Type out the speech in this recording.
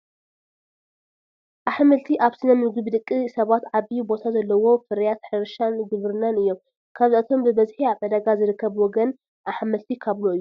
ኣሕምልቲ ኣብ ስነ ምግቢ ደቂ ሰባት ዓብዪ ቦታ ዘለዎም ፍርያት ሕርሻን ግብርናን እዮም፡፡ ካብዚኣቶም ብብዝሒ ኣብ ዕዳጋ ዝርከብ ወገን ኣሕምልቲ ካብሎ እዩ፡፡